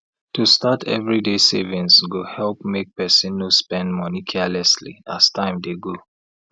to start everyday savings go help make person no spend money carelessly as time dey go